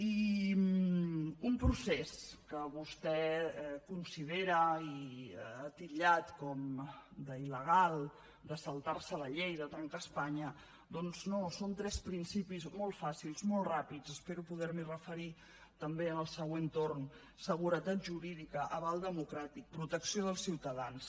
i un procés que vostè considera i que ha titllat d’il·legal de saltar se la llei de trencar espanya doncs no són tres principis molt fàcils molt ràpids espero poder m’hi referir també en el següent torn seguretat jurídica aval democràtic protecció dels ciutadans